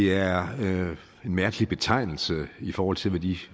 er en mærkelig betegnelse i forhold til hvad de